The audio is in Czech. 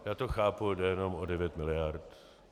Já to chápu, jde jenom o devět miliard.